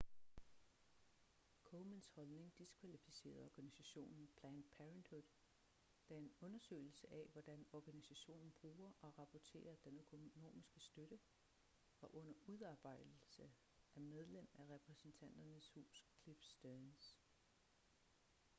komens holdning diskvalificerede organisationen planned parenthood da en undersøgelse af hvordan organisationen bruger og rapporterer den økonomiske støtte var under udarbejdelse af medlem af repræsentanternes hus cliff stearns